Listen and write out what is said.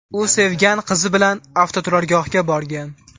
U sevgan qizi bilan avtoturargohga borgan.